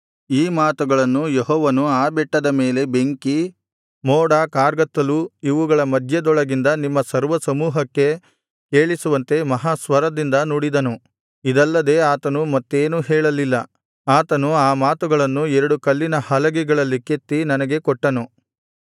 ಈ ಮಾತುಗಳನ್ನು ಯೆಹೋವನು ಆ ಬೆಟ್ಟದ ಮೇಲೆ ಬೆಂಕಿ ಮೋಡ ಕಾರ್ಗತ್ತಲು ಇವುಗಳ ಮಧ್ಯದೊಳಗಿಂದ ನಿಮ್ಮ ಸರ್ವಸಮೂಹಕ್ಕೆ ಕೇಳಿಸುವಂತೆ ಮಹಾ ಸ್ವರದಿಂದ ನುಡಿದನು ಇದಲ್ಲದೆ ಆತನು ಮತ್ತೇನೂ ಹೇಳಲಿಲ್ಲ ಆತನು ಆ ಮಾತುಗಳನ್ನು ಎರಡು ಕಲ್ಲಿನ ಹಲಗೆಗಳಲ್ಲಿ ಕೆತ್ತಿ ನನಗೆ ಕೊಟ್ಟನು